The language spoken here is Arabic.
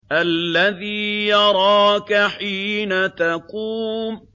الَّذِي يَرَاكَ حِينَ تَقُومُ